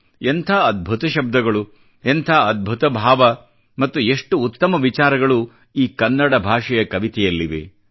ಎಂಥ ಅದ್ಭುತ ಶಬ್ದಗಳು ಎಂಥ ಅದ್ಭುತ ಭಾವ ಮತ್ತು ಎಷ್ಟು ಉತ್ತಮ ವಿಚಾರಗಳು ಈ ಕನ್ನಡ ಭಾಷೆಯ ಕವಿತೆಯಲ್ಲಿವೆ